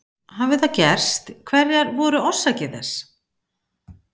Hafi það gerst hverjar voru orsakir þess?